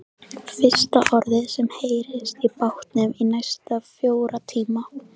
Fyrsta orðið sem heyrist í bátnum í næstum fjóra tíma.